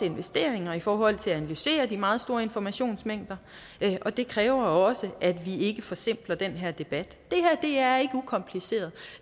investeringer i forhold til at analysere de meget store informationsmængder og det kræver også at vi ikke forsimpler den her debat det her er ikke ukompliceret